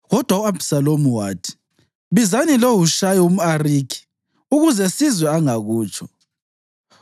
Kodwa u-Abhisalomu wathi, “Bizani loHushayi umʼArikhi, ukuze sizwe angakutsho.”